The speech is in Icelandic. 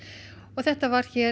þetta var hér